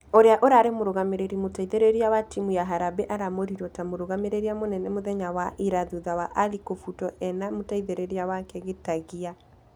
Ũria ũrarĩ mũrũgamĩrĩri mũteithereria wa timũ ya harambee araamũrirwo ta mũrũgamĩrĩri mũnene mũthenya wa ira thutha wa ali kũfutwo ĩna mũteithereria wake gitagia.